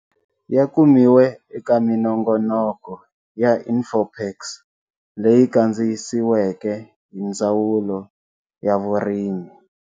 Ya kumiwe eka minongonoko ya InfoPaks leyi kandziyisiweke hi Ndzawulo ya Vurimi.